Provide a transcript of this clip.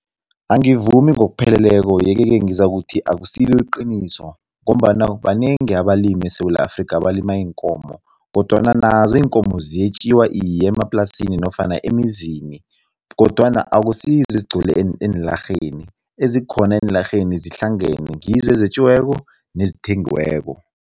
Angivumi ngokupheleleko yeke-ke ngizakuthi akusilo iqiniso ngombana banengi abalimi eSewula Afrika abalima iinkomo kodwana nazo iinkomo ziyetjiwa iye, emaplasini nofana emizini kodwana akusizo ezigcwele eenlarheni. Ezikhona eenlarheni zihlangane, ngizo ezetjiweko nezithengiweko.